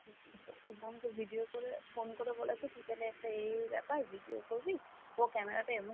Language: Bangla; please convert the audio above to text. ওর বোনকে video করে phone করে বলেছে তুই তালে একটা এই এই ব্যাপার video করবি ও camera টা এমন জায়গায়,